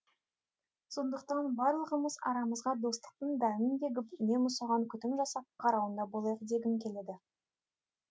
сондықтан барлығымыз арамызға достықтың дәнін егіп үнемі соған күтім жасап қарауында болайық дегім келеді